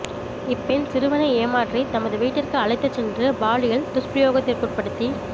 இப்பெண் சிறுவனை ஏமாற்றி தமது வீட்டுக்கு அழைத்துச் சென்று பாலியல் துஷ்பிரயோகத்திற்குட்படுத்தியு